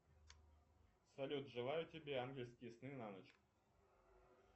салют желаю тебе ангельские сны на ночь